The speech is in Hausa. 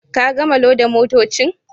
Ka gama loda motocin.